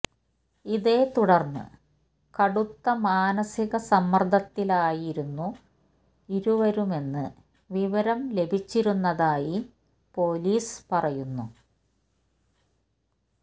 ഇതേത്തുടര്ന്ന് കടുത്ത മാനസിക സമ്മര്ദ്ദത്തിലായിരുന്നു ഇരുവരുമെന്ന് വിവരം ലഭിച്ചിരുന്നതായി പോലീസ് പറയുന്നു